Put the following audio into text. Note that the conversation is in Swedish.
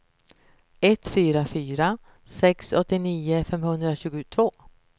ett fyra fyra sex åttionio femhundratjugotvå